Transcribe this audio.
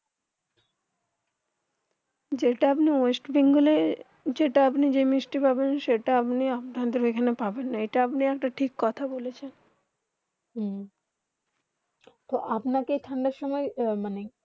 যেটা আপনি ইস্ট বেঙ্গল যেটা আপনি মিষ্টি পাবেন সেটা আপনি আপনার ওখানে পাবেন না আটা আপনি একটা ঠিক কথা বলেছেন হ্মম্ম তো আপনা কে ঠান্ডা সময়ে মানে